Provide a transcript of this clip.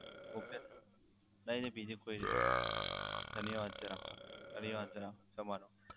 okay નહીં નહીં બીજી કોઈ નહીં ધન્યવાદ sir આપકા ધન્યવાદ sir તમારો